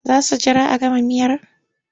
Za su jira a gama miyar?